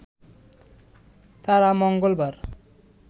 তারা মঙ্গলবার